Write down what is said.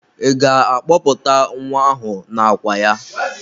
Ị ga-akpọpụta nwa ahụ n'àkwà ya?